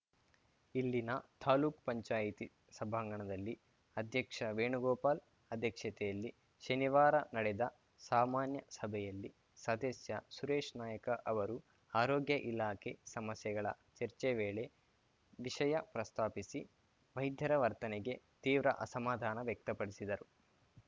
ಇಲ್ಲಿನ ತಾಲೂಕ್ ಪಂಚಾಯತಿ ಸಭಾಂಗಣದಲ್ಲಿ ಅಧ್ಯಕ್ಷ ವೇಣುಗೋಪಾಲ್‌ ಅಧ್ಯಕ್ಷತೆಯಲ್ಲಿ ಶನಿವಾರ ನಡೆದ ಸಾಮಾನ್ಯ ಸಭೆಯಲ್ಲಿ ಸದಸ್ಯ ಸುರೇಶ್‌ ನಾಯಕ ಅವರು ಆರೋಗ್ಯ ಇಲಾಖೆ ಸಮಸ್ಯೆಗಳ ಚರ್ಚೆ ವೇಳೆ ವಿಷಯ ಪ್ರಸ್ತಾಪಿಸಿ ವೈದ್ಯರ ವರ್ತನೆಗೆ ತೀವ್ರ ಅಸಮಾಧಾನ ವ್ಯಕ್ತಪಡಿಸಿದರು